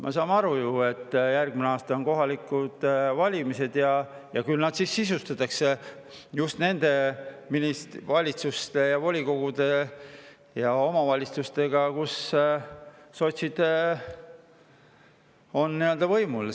Me saame ju aru, et järgmine aasta on kohalikud valimised ja küll neid siis sisustavad just need valitsused ja volikogud ja omavalitsused, kus sotsid on võimul.